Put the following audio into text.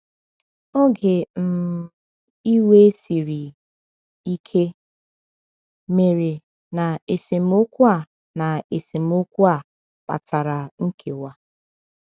“Oge um iwe siri ike” mere, na esemokwu a na esemokwu a kpatara nkewa.